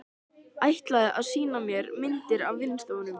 Ætlaði að sýna mér myndir á vinnustofunni.